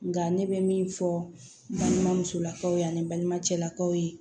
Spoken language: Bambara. Nka ne bɛ min fɔ balima musolakaw ye ani balima cɛlakaw ye